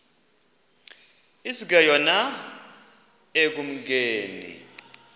iske yona ekumkeni